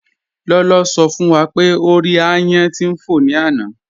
Ló̩ló̩ sọ̀ fún wá pé o rí àyán tí n fọ ní ànà.